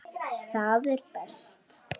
Það er best.